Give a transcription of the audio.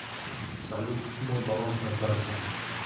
салют мой баланс на карте